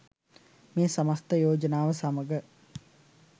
'මේ සමස්ත යෝජනාව සමඟ